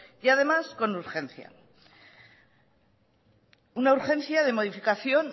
y además con urgencia una urgencia de modificación